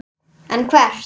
En hvert?